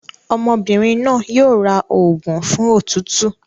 Ọmọbìnrin náà yóò ra òògùn fún òtútù.